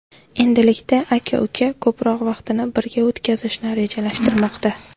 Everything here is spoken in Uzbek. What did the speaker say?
Endilikda aka-uka ko‘proq vaqtini birga o‘tkazishni rejalashtirmoqda.